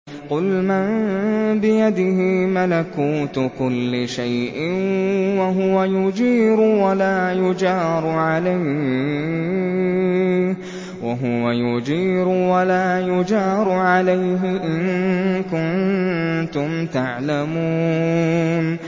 قُلْ مَن بِيَدِهِ مَلَكُوتُ كُلِّ شَيْءٍ وَهُوَ يُجِيرُ وَلَا يُجَارُ عَلَيْهِ إِن كُنتُمْ تَعْلَمُونَ